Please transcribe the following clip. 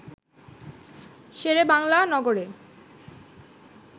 শেরেবাংলা নগরে